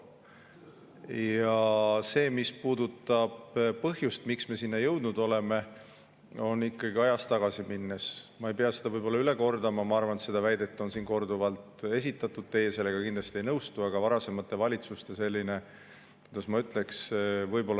Ja mis puudutab põhjust, miks me sinna jõudnud oleme, siis ajas tagasi minnes – ma ei pea seda üle kordama, ma arvan, et seda väidet on siin korduvalt esitatud ja teie sellega kindlasti ei nõustu –, aga varasemate valitsuste – kuidas ma ütlen?